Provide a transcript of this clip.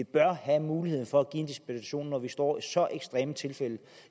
bør have muligheden for at give en dispensation når vi står med så ekstreme tilfælde